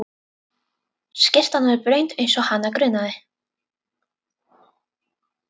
Skyrtan orðin blaut eins og hana grunaði.